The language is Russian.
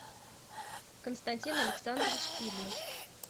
константин александрович филин